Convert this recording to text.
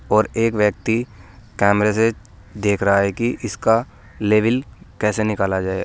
और एक व्यक्ति कैमरे से देख रहा है कि इसका लेविल कैसे निकाला जाए।